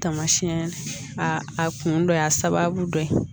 Tamasiyɛn a kun dɔ y'a sababu dɔ ye